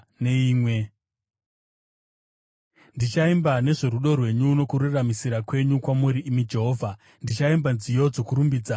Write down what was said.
Ndichaimba nezvorudo rwenyu nokururamisira kwenyu; kwamuri, imi Jehovha, ndichaimba nziyo dzokurumbidza.